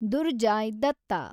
Durjoy Datta